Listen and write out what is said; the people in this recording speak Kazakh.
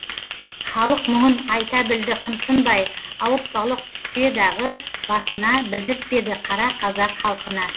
халық мұңын айта білді қымсынбай ауыртпалық түсе дағы басына білдіртпеді қара қазақ халқына